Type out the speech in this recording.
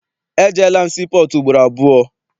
Ejeela m sii pọọtụ ugboro abụọ.